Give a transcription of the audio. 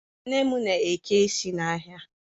Nne m na-eke isi n'ahịa